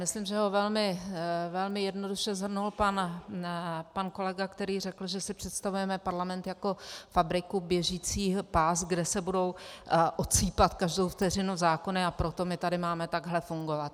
Myslím, že ho velmi jednoduše shrnul pak kolega, který řekl, že si představujeme parlament jako fabriku, běžící pás, kde se budou odsýpat každou vteřinu zákony, a proto my tady máme takto fungovat.